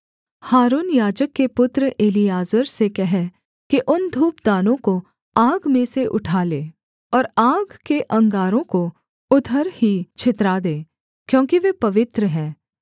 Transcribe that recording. हारून याजक के पुत्र एलीआजर से कह कि उन धूपदानों को आग में से उठा ले और आग के अंगारों को उधर ही छितरा दे क्योंकि वे पवित्र हैं